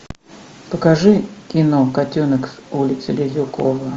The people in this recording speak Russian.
покажи кино котенок с улицы лизюкова